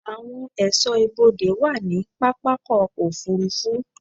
Àwọn ẹ̀ṣọ́ ibodè wà ní pápákọ̀-òfurufú.